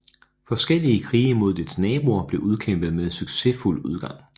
Forskellige krige mod dets naboer blev udkæmpet med succesfuld udgang